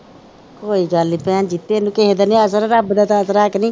ਕੋਈ ਗੱਲ ਨੀ ਭੈਣ ਜੀ ਤੈਨੂੰ ਕਿਸੇ ਦਾ ਨੀ ਆਸਰਾ ਰੱਬ ਦਾ ਤਾ ਆਸਰਾ ਹੈ ਕ ਨਹੀਂ